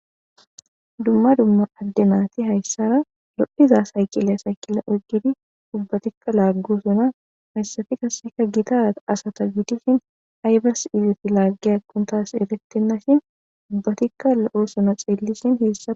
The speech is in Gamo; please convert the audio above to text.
Dumma dumma addenaati hayssara lo7iza sayqilya saykilla ogidi dubbatikka laaggo suna hayssafi kaseka gita asata gidishin aybars izet laaggi akuntas eerettenna shin dubbatikka la7oo suna xeellisin heessa